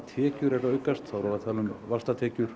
kjarnatekjur eru að aukast þá erum við að tala um vaxtatekjur